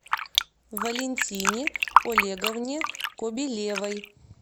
валентине олеговне кобелевой